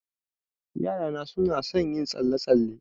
Yarana suna son yin tsalle-tsalle.